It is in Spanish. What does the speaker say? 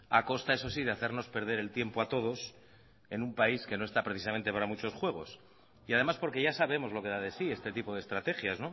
a costa eso sí de hacernos perder el tiempo a todos en un país que no está precisamente para muchos juegos y además porque ya sabemos lo que da de sí este tipo de estrategias